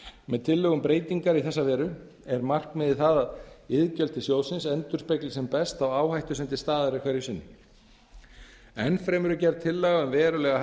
með tillögu um breytingar í þessa veru er markmiðið það að iðgjöld til sjóðsins endurspegli sem best þá áhættu sem til staðar er hverju sinni enn fremur er gerð tillaga um verulega